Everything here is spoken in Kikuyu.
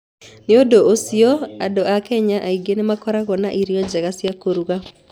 Nĩ ũndũ ũcio, andũ a Kenya aingĩ nĩ makoragwo na irio njega cia kũruga.